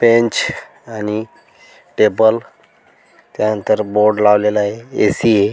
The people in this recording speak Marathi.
बेंच आणि टेबल त्यानंतर बोर्ड लावलेले आहे ए.सी. ये.